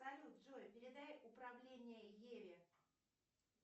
салют джой передай управление еве